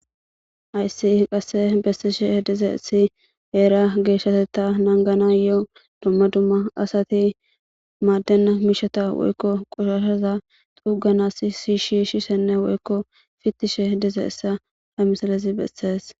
Hayssi qasse bessishe dize essi eera geeshshaseta nanganayo dumma dumma asati maaddenna misheta woykko qoshashaza xuganas shishiishissenne woykko fittishe dize essa ha misalezi bessees.